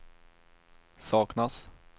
saknas